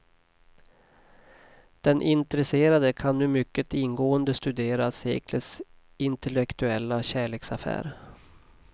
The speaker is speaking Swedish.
Den intresserade kan nu mycket ingående studera seklets intellektuella kärleksaffär.